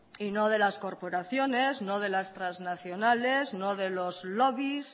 y no de las corporaciones no de las transnacionales no de los lobbies